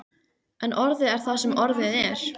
En orðið er það sem orðið er.